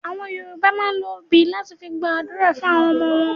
Àwọn Yorùbá máa ń lo obì láti fi gba àdúrà fún àwọn ọmọ wọn.